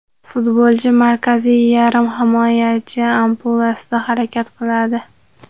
Futbolchi markaziy yarim himoyachi ampulasida harakat qiladi.